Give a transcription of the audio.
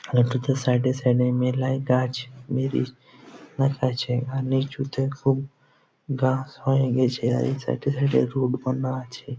এক গুচ্ছ সাইড -এ সাইড -এ মেলাই গাছ গাছ আছে আর নিচুতে খুব ঘাস হয়ে গেছে আর এ সাইড -এ সাইড -এ রোড বাঁধা আছে।